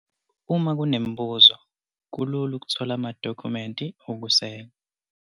Uma kunemibuzo, kulula ukuthola amadokhumenti okuseka.